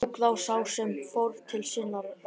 Tók þá sá sem fór til sinna ráða.